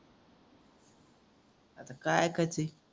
आता काय ऐकायचंय?